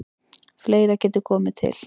Fleira geti komið til.